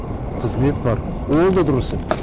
қызмет бар ол да дұрыс емес